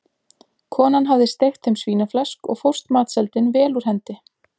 Konan hafði steikt þeim svínaflesk og fórst matseldin vel úr hendi.